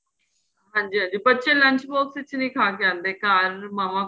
ਹਾਂਜੀ ਹਾਂਜੀ ਬੱਚੇ lunch box ਚ ਨਹੀਂ ਖਾਹ ਕੇ ਆਦੇ ਘਰ